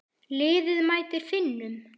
Liðið mætir Finnum.